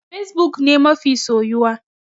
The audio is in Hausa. Fesbuk ne mafi soyuwa.